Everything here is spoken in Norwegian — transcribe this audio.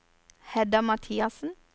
Hedda Mathiassen